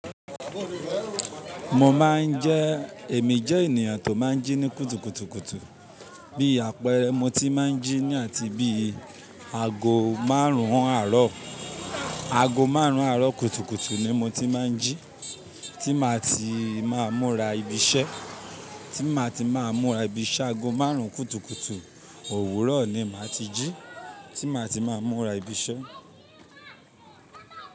Mo má ń jẹ́, èmi jẹ́ ènìyàn tó má ń jí ní kùtùkùtù. Bí àpẹẹrẹ mo ti má ń jí ní àti bí ago márùn-ún àárọ̀, ago márùn-ún àárọ̀ kùtùkùtù ni mo ti má ń jí, tí màá ti má múra ibi iṣẹ́, tí màá ti má múra ibi iṣẹ́. Ago márùn-ún kùtùkùtù òwúrọ̀ ni màá ti jí, tí màá ti má múra ibi iṣẹ́